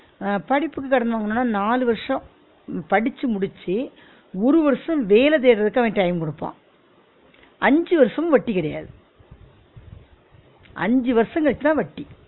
அஹ் படிப்புக்கு கடன் வாங்குனுனா நாலு வருஷம் படிச்சு முடிச்சி ஒரு வருஷம் வேல தேடுறதுக்கு அவன் time குடுப்பான் அஞ்சு வருஷமும் வட்டி கிடையாது அஞ்சு வருஷம் கழிச்சு தான் வட்டி